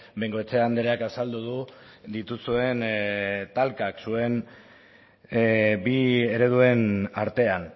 bengoechea andreak azaldu du dituzuen talkak zuen bi ereduen artean